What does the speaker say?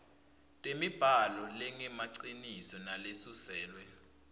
temibhalo lengemaciniso nalesuselwe